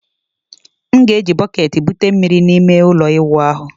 M ga-eji bọketi bute mmiri na ime ụlọ ịwụ ahụ.